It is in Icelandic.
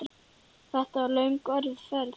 Þetta var löng og erfið ferð.